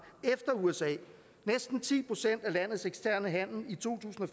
efter usa næsten ti procent af landets eksterne handel i to tusind og